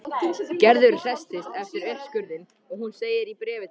Gerður hresstist eftir uppskurðinn og hún segir í bréfi til